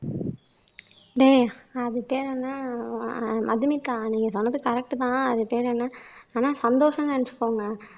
டேய் அது பேர்ன்னா மதுமிதா நீங்க சொன்னது கரெக்ட் தான் அது பேரு என்ன ஆனா சந்தோஷம்ன்னு நினைச்சுக்கோங்க